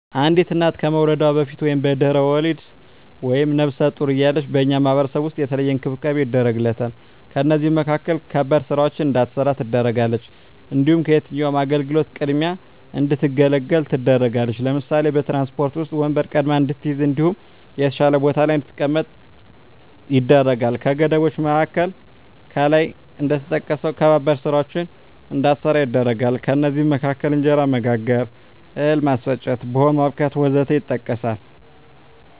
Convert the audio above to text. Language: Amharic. አንዲት እና ከመዉለዷ በፊት(በድሕረ ወሊድ)ወይም ነብሰ ጡር እያለች በእኛ ማህበረሰብ ዉስጥ የተለየ እንክብካቤ ይደረግላታል ከእነዚህም መካከል ከባድ ስራወችን እንዳትሰራ ትደረጋለች። እንዲሁም ከየትኛዉም አገልግሎት ቅድሚያ እንድትገለገል ትደረጋለች ለምሳሌ፦ በትራንስፖርት ዉስጥ ወንበር ቀድማ እንድትይዝ እንዲሁም የተሻለ ቦታ ላይ እንድትቀመጥ ይደረጋል። ከገደቦች መካከል ከላይ እንደተጠቀሰዉ ከባባድ ስራወችን እንዳትሰራ ይደረጋል ከእነዚህም መካከል እንጀራ መጋገር፣ እህል ማስፈጨት፣ ቡሆ ማቡካት ወዘተ ይጠቀሳል